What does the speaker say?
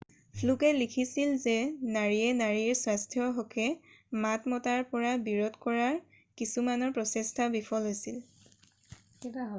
ফ্লুকে লিখিছিল যে নাৰীয়ে নাৰীৰ স্বাস্থ্যৰ হকে মাত মতাৰ পৰা বিৰত কৰাৰ কিছুমানৰ প্ৰচেষ্টা বিফল হৈছিল